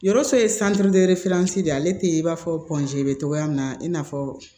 Yɔrɔ ye de ale tɛ i n'a fɔ bɛ cogoya min na i n'a fɔ